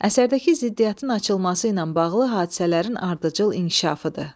Əsərdəki ziddiyyətin açılması ilə bağlı hadisələrin ardıcıl inkişafıdır.